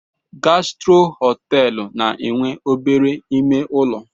Gastro họteelụ na-enwe obere ime ụlọ.